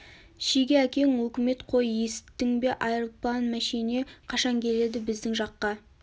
шеге әкең өкімет қой есіттің бе айырплан мәшине қашан келеді біздің жаққа